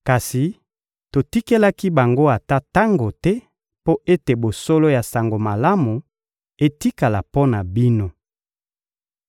Kasi totikelaki bango ata tango te mpo ete bosolo ya Sango Malamu etikala mpo na bino.